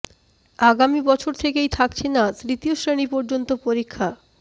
আগামী বছর থেকেই থাকছে না তৃতীয় শ্রেণি পর্যন্ত পরীক্ষা